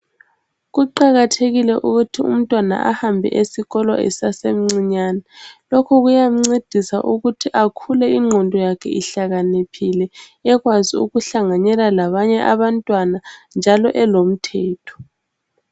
Kuqakathekile ukuthi umntwana ahambe esikolo esasemncinyane. Lokhu kuyamncedisa ukuthi akhule ingqondo yakhe ihlakaniphile. Ekwazi ukuhlanganela labanye abantwana njalo elomthetho.